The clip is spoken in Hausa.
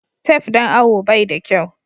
Tef don awo bai da kyau.